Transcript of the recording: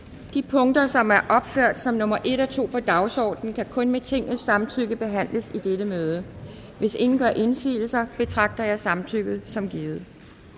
de punkter som er opført som nummer en og to på dagsordenen kan kun med tingets samtykke behandles i dette møde hvis ingen gør indsigelse betragter jeg samtykket som givet